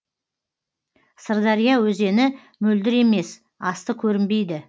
сырдария өзені мөлдір емес асты көрінбейді